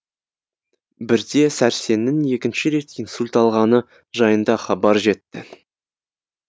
бірде сәрсеннің екінші рет инсульт алғаны жайында хабар жетті